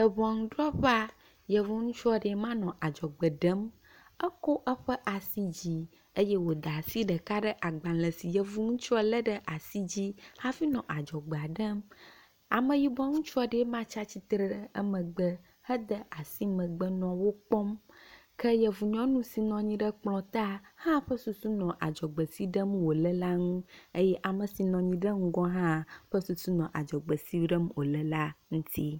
Eŋɔnudrɔƒea, yevu ŋutsu aɖee ma nɔ adzɔgbe ɖem, ekɔ eƒe asi dzi eye wòda asi ɖeka ɖe agbalẽ si yevu ŋutsua lé ɖe asi dzi hafi nɔ adzɔgbea ɖem. Ameyibɔ ŋutsu aɖee ma tsatsitre ɖe emegbe hede asi megbe nɔ wo kpɔm ke yevu nyɔnu si nɔ anyi ɖe kplɔ ta, hã ƒe susu nɔ adzɔgbe si ɖem wòle la ŋu. eye ame si nɔ anyi ɖe ŋgɔ hã ƒe susu nɔ adzɔgbe si ɖem wòle la ŋuti.